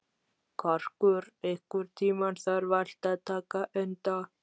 Karkur, einhvern tímann þarf allt að taka enda.